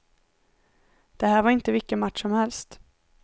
Det här var inte vilken match som helst.